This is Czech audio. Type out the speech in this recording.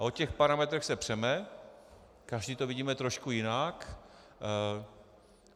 A o těch parametrech se přeme, každý to vidíme trošku jinak.